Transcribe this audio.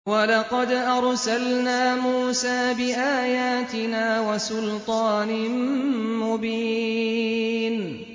وَلَقَدْ أَرْسَلْنَا مُوسَىٰ بِآيَاتِنَا وَسُلْطَانٍ مُّبِينٍ